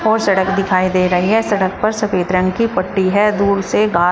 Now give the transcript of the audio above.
और सड़क दिखाई दे रही है सड़क पर सफेद रंग की पट्टी है दूर से घास--